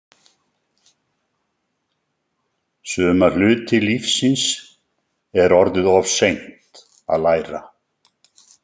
Suma hluti lífsins er orðið of seint að læra.